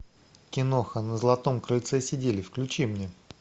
киноха на златом крыльце сидели включи мне